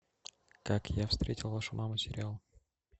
как я встретил вашу маму сериал